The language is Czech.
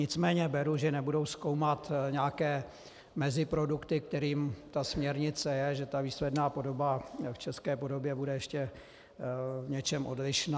Nicméně beru, že nebudou zkoumat nějaké meziprodukty, kterými ta směrnice je, že ta výsledná podoba v české podobě bude ještě v něčem odlišná.